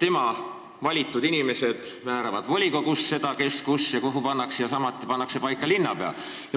rahva valitud inimesed määravad volikogus seda, kes, kus ja kuhu pannakse, ja samuti pannakse paika linnapea.